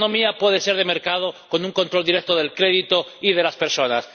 ¿Qué economía puede ser de mercado con un control directo del crédito y de las personas?